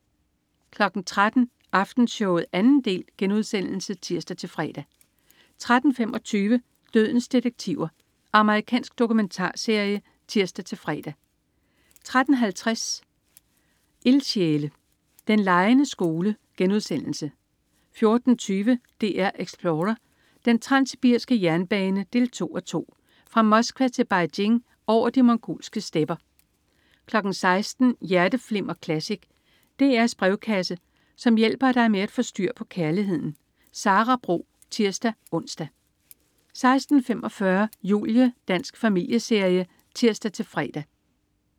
13.00 Aftenshowet 2. del* (tirs-fre) 13.25 Dødens detektiver. Amerikansk dokumentarserie (tirs-fre) 13.50 Ildsjæle. Den legende skole* 14.20 DR Explorer: Den transsibiriske jernbane 2:2. Fra Moskva til Beijing over de mongolske stepper 16.00 Hjerteflimmer Classic. DR's brevkasse, som hjælper dig med at få styr på kærligheden. Sara Bro (tirs-ons) 16.45 Julie. Dansk familieserie (tirs-fre)